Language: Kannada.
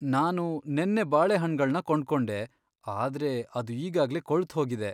ನಾನು ನೆನ್ನೆ ಬಾಳೆಹಣ್ಣ್ಗಳ್ನ ಕೊಂಡ್ಕೊಂಡೆ, ಆದ್ರೆ ಅದು ಈಗಾಗ್ಲೇ ಕೊಳ್ತ್ಹೋಗಿದೆ.